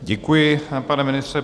Děkuji, pane ministře.